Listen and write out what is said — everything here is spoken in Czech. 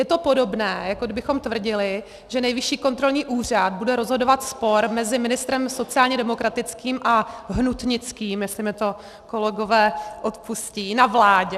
Je to podobné, jako kdybychom tvrdili, že Nejvyšší kontrolní úřad bude rozhodovat spor mezi ministrem sociálně demokratickým a hnutnickým, jestli mi to kolegové odpustí, na vládě.